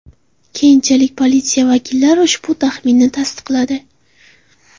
Keyinchalik politsiya vakillari ushbu taxminni tasdiqladi.